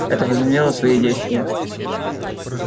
это возымело свои действия